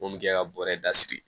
Mun bɛ kɛ ka bɔrɛ da siri